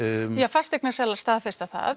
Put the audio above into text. fasteignasalar staðfesta það